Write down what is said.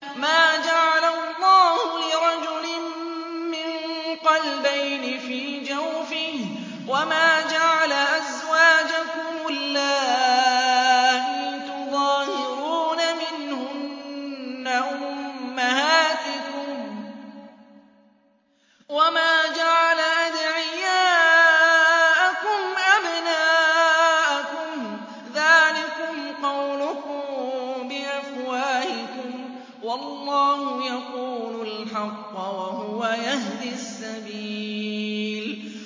مَّا جَعَلَ اللَّهُ لِرَجُلٍ مِّن قَلْبَيْنِ فِي جَوْفِهِ ۚ وَمَا جَعَلَ أَزْوَاجَكُمُ اللَّائِي تُظَاهِرُونَ مِنْهُنَّ أُمَّهَاتِكُمْ ۚ وَمَا جَعَلَ أَدْعِيَاءَكُمْ أَبْنَاءَكُمْ ۚ ذَٰلِكُمْ قَوْلُكُم بِأَفْوَاهِكُمْ ۖ وَاللَّهُ يَقُولُ الْحَقَّ وَهُوَ يَهْدِي السَّبِيلَ